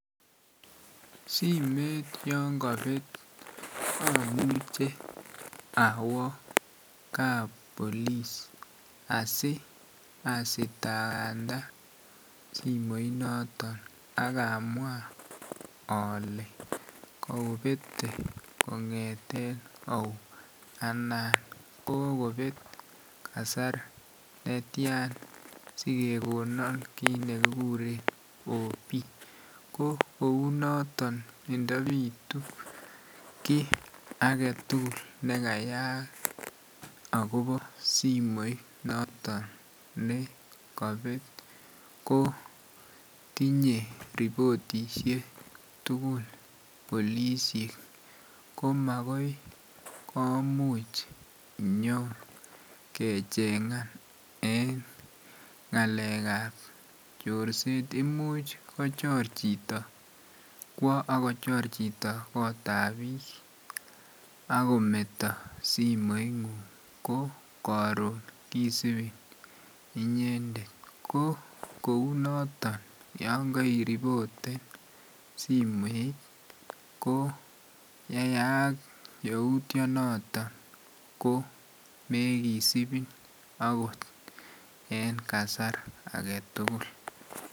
Simet yon kapet amuche awo kap polis asiasitakanda simoit noto ak amwa ale kopete kongeten au a anan kokopet kasar netian sikekonan kit nekikuren op. Ko kounoton indopitu kiy agetugul nekayaak agobo simoit noton ne kapet ko tinye ripotisiek tugul polisiek, ko makoi komuch nyokechengan en ngalekab chorset. Imuch kwo ak kochor chito kotab biik ak kometo simoingung ko karun kisupin inyendet. Ko kou noton yon kairipoten simoit ko yeyaak yautyonoto ko mekisipi agot en kasar age tugul.